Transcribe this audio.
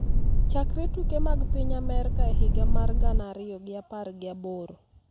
chakre tuke mag piny Amerka e higa mar gana ariyo gi apar gi aboro